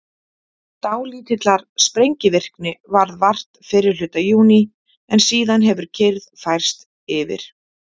dálítillar sprengivirkni varð vart fyrri hluta júní en síðan hefur kyrrð færst yfir